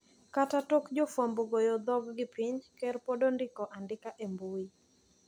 Kata tok jofwambo goyo dhog gi piny, ker pod ondiko andika e mbui.